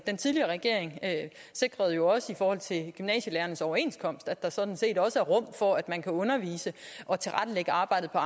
den tidligere regering sikrede jo i forhold til gymnasielærernes overenskomst at der sådan set også er rum for at man kan undervise og tilrettelægge arbejdet på